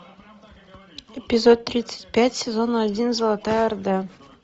эпизод тридцать пять сезона один золотая орда